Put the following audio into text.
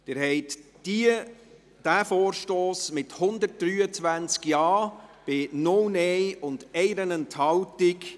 Sie haben diesen Vorstoss angenommen, mit 123 Ja- zu 0 Nein-Stimmen bei 1 Enthaltung.